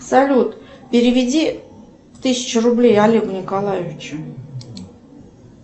салют переведи тысячу рублей олегу николаевичу